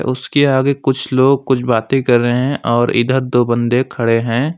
उसके आगे कुछ लोग कुछ बातें कर रहे हैं और इधर दो बंदे खड़े हैं।